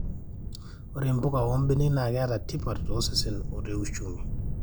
ore mpuka oo mbenek naa keeta tipat tosesen oo te ushumi